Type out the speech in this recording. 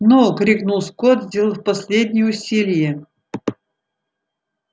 ну крикнул скотт сделав последнее усилие